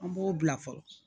An b'o bila fɔlɔ